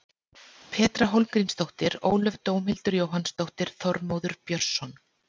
Petra Hólmgrímsdóttir Ólöf Dómhildur Jóhannsdóttir Þormóður Björnsson